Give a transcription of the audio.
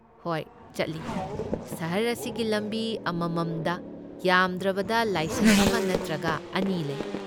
ꯍꯣꯏ, ꯆꯠꯂꯤ꯫ ꯁꯍꯔ ꯑꯁꯤꯒꯤ ꯂꯝꯕꯤ ꯑꯃꯃꯝꯗ ꯌꯥꯝꯗ꯭ꯔꯕꯗ ꯂꯥꯏꯁꯪ ꯑꯃ ꯅꯠꯇ꯭ꯔꯒ ꯑꯅꯤ ꯂꯩ꯫